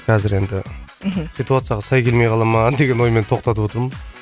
қазір енді мхм ситуацияға сай келмей қала ма деген оймен тоқтатып отырмын